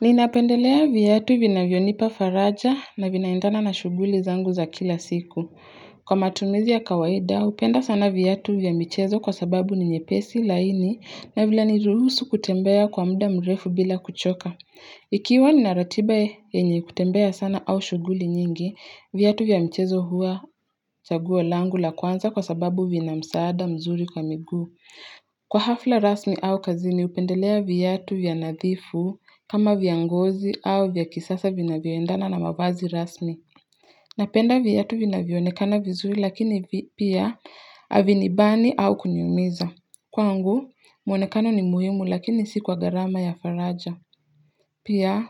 Ninapendelea viatu vinavyonipa faraja na vinaendana na shughuli zangu za kila siku. Kwa matumizi ya kawaida hupenda sana viatu vya michezo kwa sababu ni nyepesi laini na vila ni ruhusu kutembea kwa muda mrefu bila kuchoka. Ikiwa ninaratiba yenye kutembea sana au shughuli nyingi, viatu vya michezo huwa chaguo langu la kwanza kwa sababu vinamsaada mzuri kwa miguu. Kwa hafla rasmi au kazini hupendelea viatu vya nadhifu kama vya ngozi au vya kisasa vinavyoendana na mavazi rasmi. Napenda viatu vinavyoonekana vizuri lakini pia havinibani au kuniumiza. Kwangu muonekano ni muhimu lakini si kwa gharama ya faraja. Pia